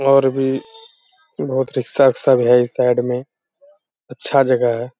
और भी बहुत रिक्शा-विक्शा भी है इस साइड में। अच्छा जगह है।